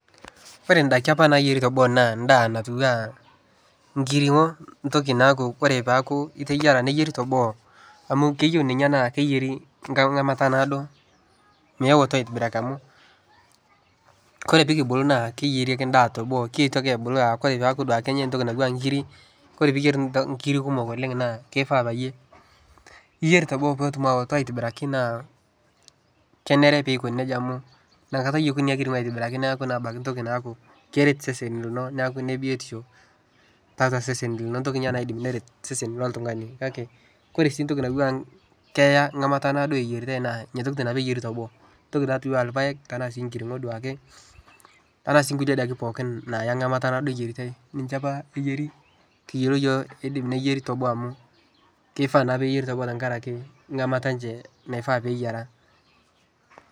Ore ndaiki apa naayieri teboo naa ndaa natiu aa nkirinko ntoki naaku kore paaku iteyiara neyieri teboo amu keyeu ninye naa keyieri enkamata naado meeto aitibiraki amu kore pee kibulu naa keyieri ake endaa teboo kitoki aabulu naa ore peeku duake enyai entoki aaku aa inkirik, kore piiyer inkirik kumok oleng' naa kifaa peyie iyer teboo peetum aawoto aitibiraki naa kenare piikoni neija amu inakata eyeku ina kiring'o aitobiraki neeku naa abaiki ntoki naaku keret sesen lino neeku ine biotisho tiatua sesen lino, entoki ninye naidim neret sesen loltung'ani. Kake kore sii ntoki naawuang' keya nkamata naado eyiaritai naa ina toki pee eyieri teboo, entoki natiu enaa irpaek tenaa sii nkirinko duake anaa sii nkulie daikin pookin naaya enkamata naado eyiaritai, ninche apa eyieri kiyiolo iyiok iidim neyieri te boo amu kifaa naa peeyieri teboo tenkaraki nkamata enye naifaa peeyiara.